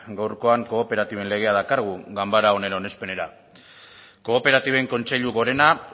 gaurkoan kooperatiben legea dakargu ganbara honen onespena kooperatiben kontseilu gorena